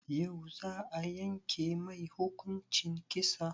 Yau za a yanke mai hukuncin kisa?